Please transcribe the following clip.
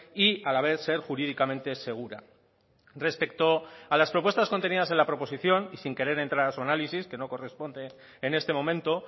y a la vez ser jurídicamente segura respecto a las propuestas contenidas en la proposición y sin querer entrar a su análisis que no corresponde en este momento